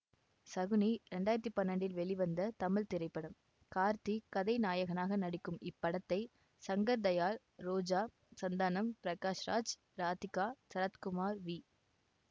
சகுனி ரெண்டாயிரத்தி பன்னெண்டில் வெளிவந்த தமிழ் திரைப்படம் கார்த்தி கதை நாயகனாக நடிக்கும் இப்படத்தை சங்கர் தயாள் ரோஜா சந்தானம் பிரகாஷ் ராஜ் இராதிகா சரத்குமார் வி